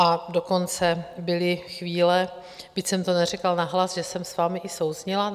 A dokonce byly chvíle, byť jsem to neřekla nahlas, že jsem s vámi i souzněla.